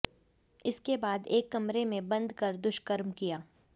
इसके बाद एक कमरे में बंद कर दुष्कर्म किया